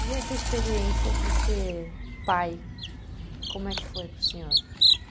E essa experiência de ser pai, como é que foi para o senhor?